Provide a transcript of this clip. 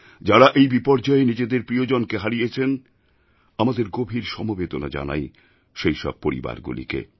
যাঁরা এই বিপর্যয়ে নিজেদের প্রিয়জনকে হারিয়েছেন আমাদের গভীর সমবেদনা জানাই সেই সব পরিবারগুলিকে